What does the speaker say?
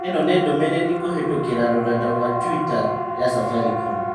Ĩno nĩ ndũmĩrĩri kũhĩtũkĩra rũrenda rũa tũita ya Safaricom.